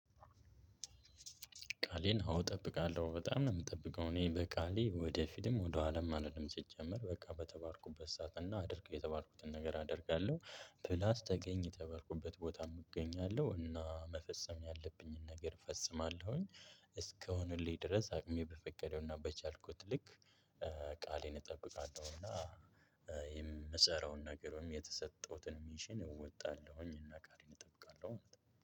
ቃሌን አው እጠብቃለሁ በጣም ነው የምጠብቀው እኔ በቃሌ ወደፊትም ወደ ወሃላም አልልም ሲጀምር በቃ በተባልኩበት ሰዓት እና አድርግ የተባልኩትን ነገር አደርጋለሁ ፕላስ ተገኝ የተባልኩበት ቦታም እገኛለሁ እና መፈጸም ያለብኝን ነገር እፈጽማለሁኝ። እስከሆነልኝ ድረስ አቅሜ በፈቀደውና በቻልኩት ልክ። ቃሌን እጠብቃለሁና። የምሰራውን ነገሮ ወይም የተሰጠሁትን ሚሽን እወጣለሁኝ እና ቃሌን እጠብቃለሁ።